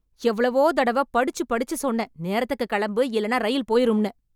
எவ்வளோ தடவ படுச்சு படுச்சு சொன்னேன் நேரத்துக்கு கிளம்பு இல்லெனா ரயில் போயிரும்னு